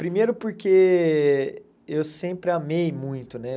Primeiro porque eu sempre amei muito, né?